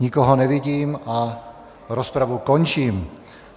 Nikoho nevidím a rozpravu končím.